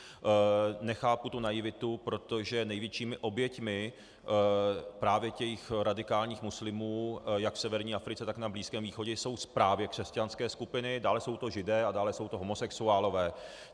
Nechápu tu naivitu, protože největšími oběťmi právě těch radikálních muslimů jak v severní Africe, tak na Blízkém východě jsou právě křesťanské skupiny, dále jsou to Židé a dále jsou to homosexuálové.